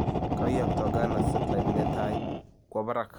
kai yakto Ghana setlait netaa kwa parag